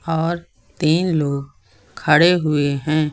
और तीन लोग खड़े हुए हैं।